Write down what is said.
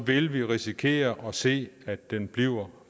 vil vi risikere at se at det bliver